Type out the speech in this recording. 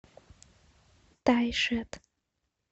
тайшет